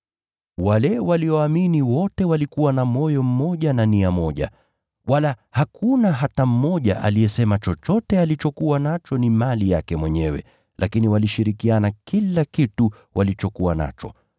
Wale walioamini wote walikuwa na moyo mmoja na nia moja. Wala hakuna hata mmoja aliyesema chochote alichokuwa nacho ni mali yake mwenyewe, lakini walishirikiana kila kitu walichokuwa nacho.